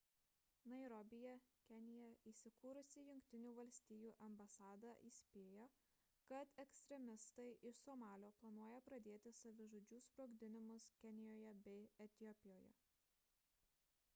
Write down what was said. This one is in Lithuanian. nairobyje kenija įsikūrusi jungtinių valstijų ambasada įspėjo kad ekstremistai iš somalio planuoja pradėti savižudžių sprogdinimus kenijoje bei etiopijoje